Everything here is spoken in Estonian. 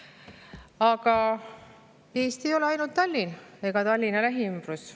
Aga Eesti ei ole ainult Tallinn ja Tallinna lähiümbrus.